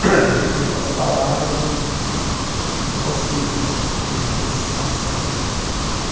Porque, às vezes, com as palavras, eu não eu não consigo muito me expressar, sabe?